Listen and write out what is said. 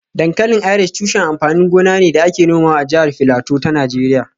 Dankalin Irish tushen amfanin gona ne da ake nomawa a jihar Filato ta Najeriya